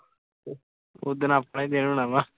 ਓਦਣ ਆਪਣਾ ਹੀ ਦਿਨ ਹੋਣਾ ਵਾਂ